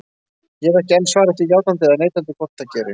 Ég hef ekki enn svarað því játandi eða neitandi hvort það gerist.